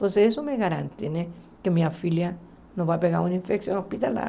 Você só me garante que minha filha não vai pegar uma infecção hospitalar.